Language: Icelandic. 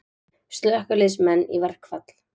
Slökkviliðsmenn í verkfall